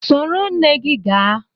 Soro nne gị gaa!